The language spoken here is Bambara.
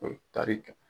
O ye tari kɛ